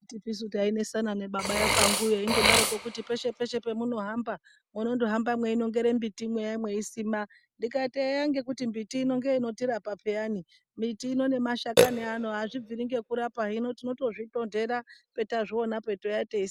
Anditisu tainesana nababa vekwanguyo veindoti peshe peshe pamunohamba, munondohamba mweinongere miti mweisima. Ndikati eya ngekuti mbiti ino ndiyo inotirapa peyani. Miti ino nemashakani ano azvibviri ngekurapa. Hino tinotozvitonhera patinenge tazvionapo teiuya teisima.